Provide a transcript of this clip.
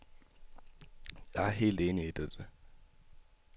Jeg er helt enig i dette.